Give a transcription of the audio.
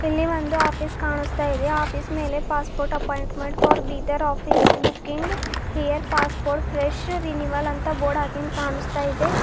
ಇಲ್ಲಿ ಒಂದು ಆಫೀಸ್ ಕಾಣಿಸ್ತಾ ಇದೆ ಆಫೀಸ್ ಮೇಲೆ passport appointment for Bidar office booking here passport fresh renewal ಅಂತ ಬೋರ್ಡ್ ಹಾಕಿದ್ ಕಾಣಿಸ್ತಾ ಇದೆ.